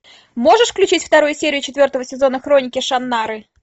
можешь включить вторую серию четвертого сезона хроники шаннары